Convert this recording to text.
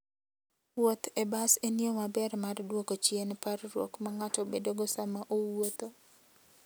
Wuoth e bas en yo maber mar duoko chien parruok ma ng'ato bedogo sama owuotho.